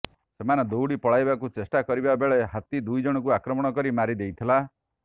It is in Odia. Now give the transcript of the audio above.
ସେମାନେ ଦୌଡ଼ି ପଳାଇବାକୁ ଚେଷ୍ଟା କରିବା ବେଳେ ହାତୀ ଦୁଇଜଣଙ୍କୁ ଆକ୍ରମଣ କରି ମାରି ଦେଇଥିଲା